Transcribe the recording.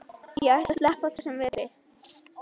Ég ætla að sleppa þessum vetri.